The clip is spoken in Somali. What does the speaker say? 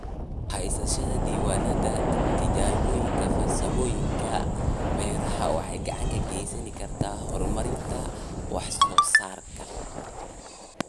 Haysashada diiwaannada tijaabooyinka farsamooyinka beeraha waxay gacan ka geysan kartaa horumarinta wax soo saarka.